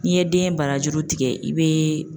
N'i ye den barajuru tigɛ i bɛ